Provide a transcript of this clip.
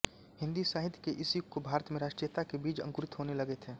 हिंदी साहित्य के इस युग को भारत में राष्ट्रीयता के बीज अंकुरित होने लगे थे